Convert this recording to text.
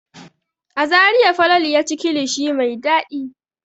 A Zariya Falalu ya ci kilishi mai dadi.